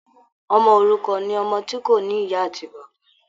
Ọmọ òrukàn ni ọmọ tí kò ní ìyá àti bàbá.